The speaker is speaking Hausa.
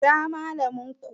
Kira Mallamin ku!